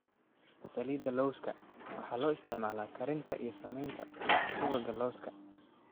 Saliidda lawska: Waxa loo isticmaalaa karinta iyo samaynta subagga lawska.